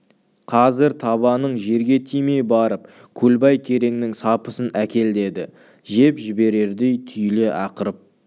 қазір табаның жерге тимей барып көлбай кереңнің сапысын әкел деді жеп жіберердей түйіле ақырып